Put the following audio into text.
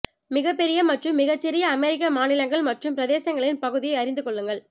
மிகப்பெரிய மற்றும் மிகச் சிறிய அமெரிக்க மாநிலங்கள் மற்றும் பிரதேசங்களின் பகுதியை அறிந்து கொள்ளுங்கள்